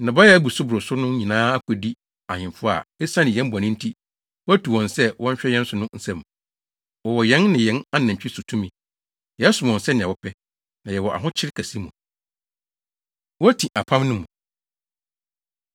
Nnɔbae a ebu so boro so no nyinaa akodi ahemfo a esiane yɛn bɔne nti, woatu wɔn sɛ wɔnhwɛ yɛn so no nsam. Wɔwɔ yɛn ne yɛn anantwi so tumi. Yɛsom wɔn sɛnea wɔpɛ, na yɛwɔ ahokyere kɛse mu. Woti Apam No Mu